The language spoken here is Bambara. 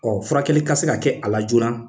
Ɔ furakɛli ka se ka kɛ a la joona